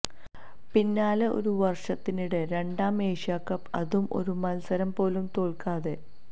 പിന്നാലെ ഒരു വര്ഷത്തിനിടെ രണ്ടാം എഷ്യാക്കപ്പ്് അതും ഒരു മത്സരം പോലും തോല്ക്കാതെ